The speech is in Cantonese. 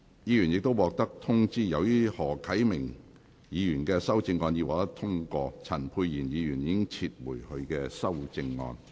議員已獲通知，由於何啟明議員的修正案獲得通過，陳沛然議員已撤回他的修正案。